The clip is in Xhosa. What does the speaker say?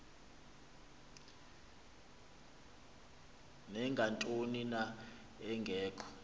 nangantoni na engekho